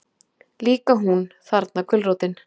Líka hún, þarna gulrótin.